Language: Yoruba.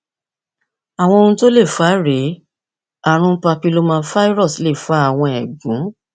àwọn ohun tó lè fà á rèé ààrùn papillomavirus lè fa àwọn ẹgún